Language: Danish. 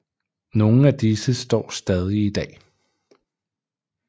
Nogle af disse står stadig i dag